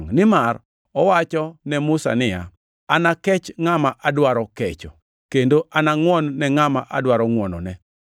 Nimar owacho ne Musa niya, “Anakech ngʼama adwaro kecho, kendo anangʼwon-ne ngʼama adwaro ngʼwonone.” + 9:15 \+xt Wuo 33:19\+xt*